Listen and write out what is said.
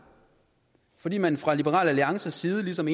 fordi man fra liberal alliances side ligesom